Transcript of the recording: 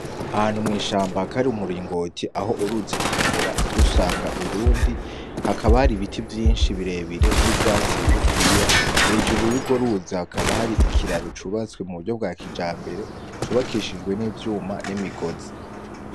Ahantu mw'ishamba kari muringoti aho uruzi rumenera rusanga urundi hakaba hari ibiti vyinshi birebire nivyatsi bigufiya, hejuru yurwo ruzi hakaba hari ikiraro cubatswe mu uburyo bwa kinjabere cubakishijwe n'ivyuma n'imigozi.